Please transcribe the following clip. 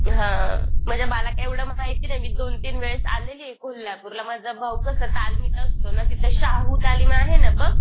हां म्हणजे मला काही एवढं माहिती नाही मी दोन तीन वेळेस आलेलीये कोल्हापूरला. माझा भाऊ कसं तालमीत असतो ना तिथं शाहू तालीम आहे ना बघ.